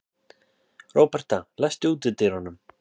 Róberta, læstu útidyrunum.